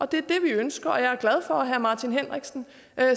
det er det vi ønsker jeg er glad for at herre martin henriksen